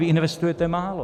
Vy investujete málo.